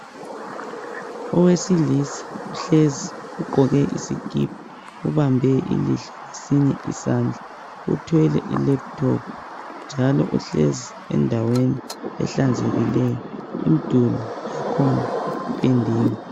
Owesilisa ohlezi ugqoke iskhipha, ubambe ilihlo ngesinye isandla . Uthwele ilaphuthophu, njalo uhlezi endaweni ehlanzekileyo. Uduli wakhona uphendiwe.